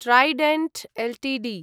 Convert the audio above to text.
Trident Ltd